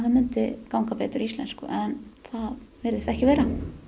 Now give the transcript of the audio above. myndi ganga betur í íslensku en það virðist ekki vera